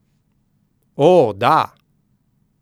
O, da!